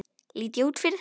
Lít ég út fyrir það?